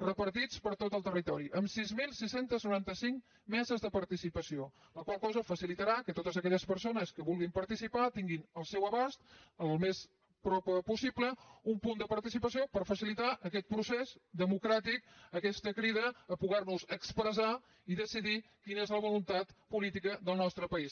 repartits per tot el territori amb sis mil sis cents i noranta cinc meses de participació la qual cosa facilitarà que totes aquelles persones que vulguin participar tinguin al seu abast al més a prop possible un punt de participació per facilitar aquest procés democràtic aquesta crida a podernos expressar i decidir quina és la voluntat política del nostre país